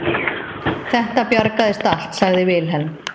Þetta bjargaðist allt, sagði Vilhelm.